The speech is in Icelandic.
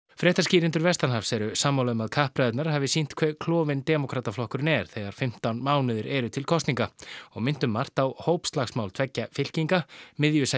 fréttaskýrendur vestanhafs eru sammála um að kappræðurnar hafi sýnt hve klofinn demókrataflokkurinn er þegar fimmtán mánuðir eru til kosninga og minnt um margt á hópslagsmál tveggja fylkinga